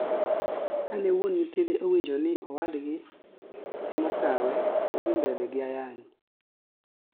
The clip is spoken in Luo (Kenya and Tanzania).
Ka ne wuon nyithinde owinjo ni owadgi emokawe nodhi mbele gi ayany